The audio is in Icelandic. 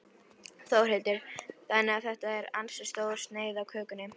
Þórhildur: Þannig að þetta er ansi stór sneið af kökunni?